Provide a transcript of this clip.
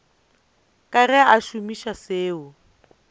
ka ge a šomiša seo